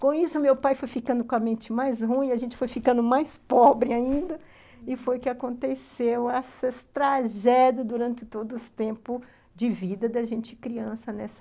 Com isso, meu pai foi ficando com a mente mais ruim, a gente foi ficando mais pobre ainda, e foi que aconteceu essa tragédia durante todo o tempo de vida da gente criança nessa...